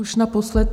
Už naposled.